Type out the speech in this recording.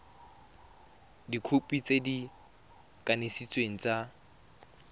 dikhopi tse di kanisitsweng tsa